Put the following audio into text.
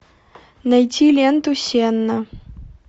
найти ленту сенна